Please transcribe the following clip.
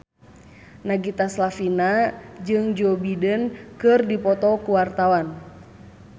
Nagita Slavina jeung Joe Biden keur dipoto ku wartawan